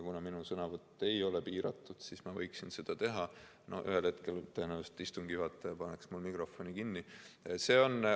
Kuna minu sõnavõtt ei ole piiratud, siis ma võiksin seda teha, aga ühel hetkel tõenäoliselt istungi juhataja paneks mul mikrofoni kinni.